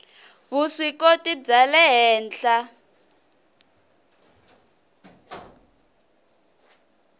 vuswikoti bya le henhla